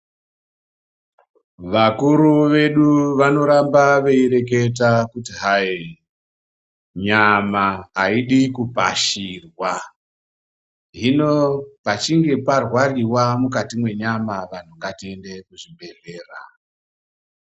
Vakuru vedu vanoramba veireketa kuti hai nyama aidi kupashirwa hino pachinge parwariwa mukati mwenyama vanthu ngatiende kuzvibhedhlera.